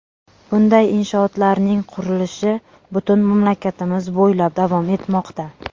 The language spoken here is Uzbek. Bunday inshootlarning qurilishi butun mamlakatimiz bo‘ylab davom etmoqda.